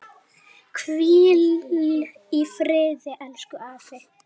Hvíl í friði, elsku afi.